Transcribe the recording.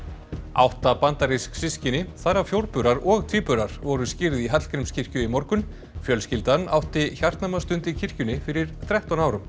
átta bandarísk systkini þar af og tvíburar voru skírð í Hallgrímskirkju í morgun fjölskyldan átti hjartnæma stund í kirkjunni fyrir þrettán árum